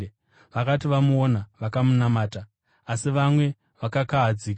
Vakati vamuona, vakamunamata, asi vamwe vakakahadzika.